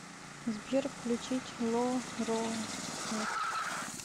сбер включить ло роар